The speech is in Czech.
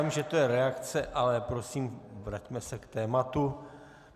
Vím, že to je reakce, ale prosím, vraťme se k tématu.